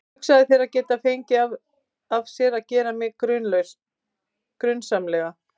Hugsaðu þér að geta fengið af sér að gera mig grunsamlega.